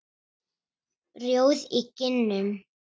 Rjóð í kinnum.